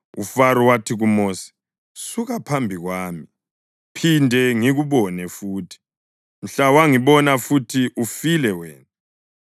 UFaro wathi kuMosi, “Suka phambi kwami! Phinde ngikubone futhi. Mhla wangibona futhi ufile wena.”